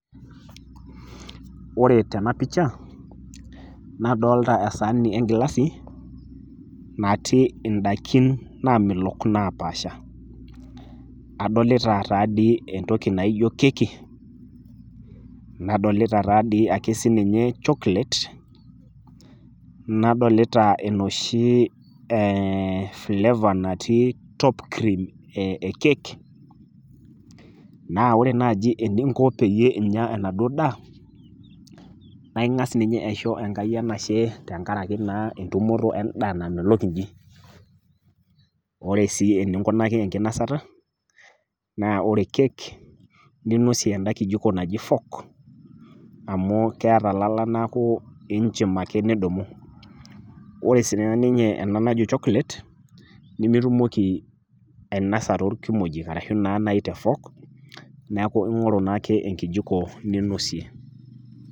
Wore tenapisha, nadolita esaani engilasi, natii indaikin naamelok naapaasha. Adolita taadi entoki naijo keki, nadolita taadi ake sininye chocolate, nadolita enoshi eeh [flavor natii top cream ekeki, naa wore naaji eninko peyie inya enaduo daa, naa ingas ninye aisho Enkai enashe tenkaraki naa entumoto endaa namelok inji. Wore sii eninkunaki enkinosata, naa wore keki, ninosie enda kijiko naji fork , amu keeta ilala neaku iinchim ake nidumu. Wore sininye ena najo chocolate, nimitumoki ainosa toorkimojik arashu naa naaji te fork, neeku ingoru naake enkijiko ninosie.